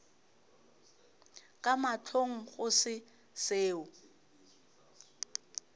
ka mahlong go se seo